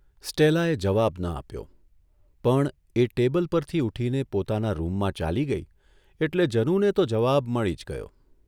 સ્ટેલાએ જવાબ ન આપ્યો પણ એ ટેબલ પરથી ઊઠીને પોતાના રૂમમાં ચાલી ગઇ એટલે જનુને તો જવાબ મળી જ ગયો.